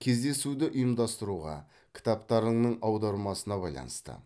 кездесуді ұйымдастыруға кітаптарыңның аудармасына байланысты